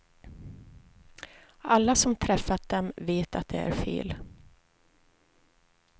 Alla som träffat dem vet att det är fel.